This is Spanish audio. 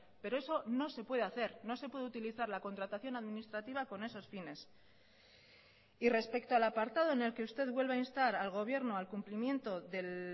pero eso no se puede hacer no se puede utilizar la contratación administrativa con esos fines y respecto al apartado en el que usted vuelve a instar al gobierno al cumplimiento del